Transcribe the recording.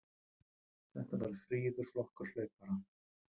Þetta var fríður flokkur hlaupara.